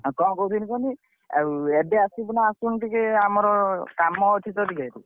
ଆଉ କଣ କହୁଥିଲି କହନି ଆଉ ଏବେ ଆସିବୁ ନା ଆସିବୁନି ଆମର ଟିକେ ଆମର କାମ ଅଛି ତ ଟିକେ।